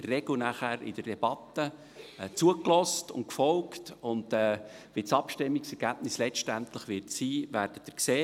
Dann wird nachher in der Regel in der Debatte zugehört und gefolgt, und wie das Abstimmungsergebnis letztendlich sein wird, werden Sie sehen.